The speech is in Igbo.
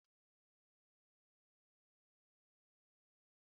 Ana eji eju esi ofe na Naịjirịa